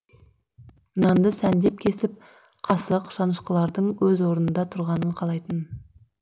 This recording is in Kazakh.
нанды сәндеп кесіп қасық шанышқылардың өз орнында тұрғанын қалайтын